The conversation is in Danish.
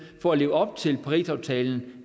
for at leve op til parisaftalen